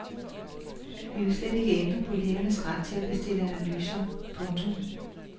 Vi vil slet ikke ændre på lægernes ret til at bestille analyser. punktum